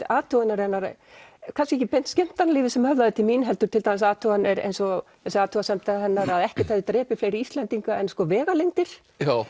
athuganir hennar kannski ekki beint skemmtanalífið sem höfðaði til mín heldur athuganir eins og þessi athugasemd hennar að ekkert hefði drepið fleiri Íslendinga en sko vegalengdir